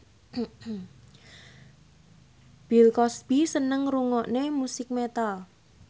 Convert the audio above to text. Bill Cosby seneng ngrungokne musik metal